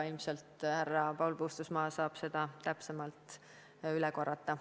Ilmselt härra Paul Puustusmaa saab seda täpsemalt üle korrata.